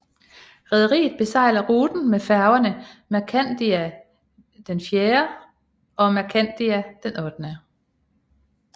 Rederiet besejler ruten med færgerne Mercandia IV og Mercandia VIII